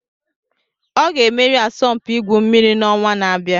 Ọ ga-emeri asọmpi igwu mmiri n'ọnwa na-abịa